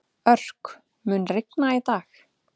Örk, mun rigna í dag?